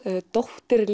dóttir